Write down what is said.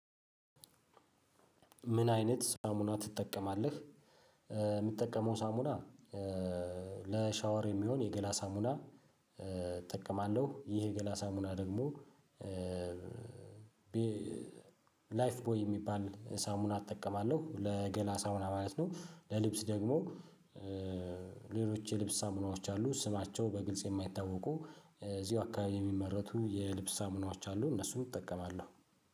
ምን አይነት ሳሙና ትጠቀማለህ? የምጠቀመው ሳሙና ለሻወር የሚሆን የገላ ሳሙና። እጠቀማለሁ ይሄ የገላ ሳሙና ደግሞ ላይፍ ቦይ የሚባል ሳሙና እጠቀማለሁ ለገላ ሳሙና ማለት ነው። ለልብስ ደግሞ ሌሎች የልብስ ሳሙናዎች አሉ። ስማቸው በግልጽ የማይታወቁ እዚሁ አካባቢ የሚመረቱ የልብስ ሳሙናዎች አሉ። እነሱን እጠቀማለሁ።